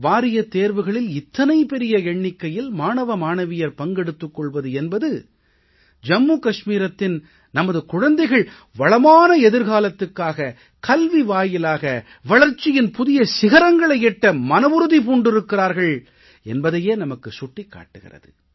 வாரியத் தேர்வுகளில் இத்தனை பெரிய எண்ணிக்கையில் மாணவ மாணவியர் பங்கு எடுத்துக் கொள்வது என்பது ஜம்மூ கஷ்மீரத்தின் நமது குழந்தைகள் வளமான எதிர்காலத்துக்காக கல்வி வாயிலாக வளர்ச்சியின் புதிய சிகரங்களை எட்ட மனவுறுதி பூண்டிருக்கிறார்கள் என்பதையே நமக்குச் சுட்டிக் காட்டுகிறது